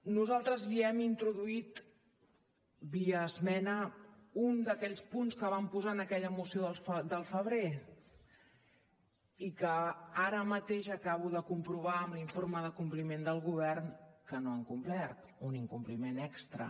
nosaltres ja hi hem introduït via esmena un d’aquells punts que vam posar en aquella moció del febrer i que ara mateix acabo de comprovar amb l’informe de compliment del govern que no han complert un incompliment extra